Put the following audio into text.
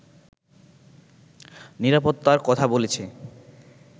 নিরাপত্তার কথা বলেছে